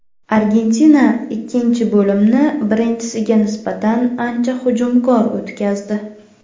Argentina ikkinchi bo‘limni birinchisiga nisbatan ancha hujumkor o‘tkazdi.